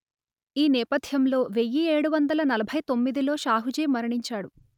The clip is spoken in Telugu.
ఈ నేపథ్యంలో వెయ్యి ఏడు వందలు నలభై తొమ్మిదిలో షాహూజీ మరణించాడు